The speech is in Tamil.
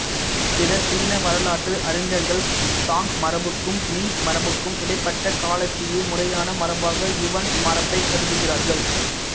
சில சீன வரலாற்று அறிஞர்கள் சாங் மரபுக்கும் மிங் மரபுக்கும் இடைப்பட்ட காலத்திய முறையான மரபாக யுவான் மரபைக் கருதுகிறார்கள்